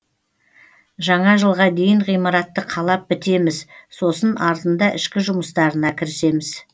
жаңа жылға дейін ғимаратты қалап бітеміз сосын артында ішкі жұмыстарына кірісеміз